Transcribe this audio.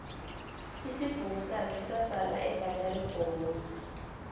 isibhukusakhe sasala evaneri bhomu